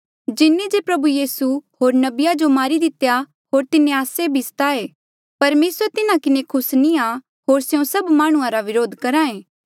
जिन्हें जे प्रभु यीसू होर नबिया जो मारी दितेया होर तिन्हें आस्से भी सताये परमेसर तिन्हा किन्हें खुस नी आ होर स्यों सभ माह्णुंआं रा व्रोध करहा ऐें